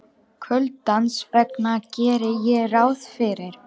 Kuldans vegna geri ég ráð fyrir.